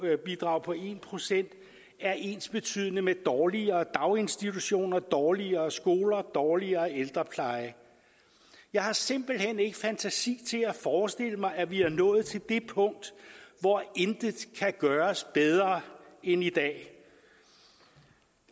en procent er ensbetydende med dårligere daginstitutioner dårligere skoler dårligere ældrepleje jeg har simpelt hen ikke fantasi til at forestille mig at vi er nået til det punkt hvor intet kan gøres bedre end i dag